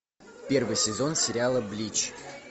первый сезон сериала блич